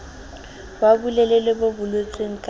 wa bolelele bo boletsweng ka